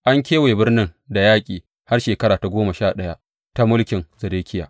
An kewaye birnin da yaƙi har shekara ta goma sha ɗaya ta mulkin Zedekiya.